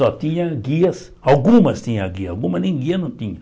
Só tinha guias, algumas tinham guias, algumas nem guias não tinha.